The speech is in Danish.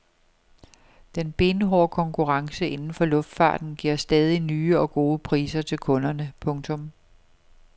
Den benhårde konkurrence inden for luftfarten giver stadig nye og gode priser til kunderne. punktum